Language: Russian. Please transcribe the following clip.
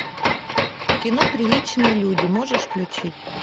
кино приличные люди можешь включить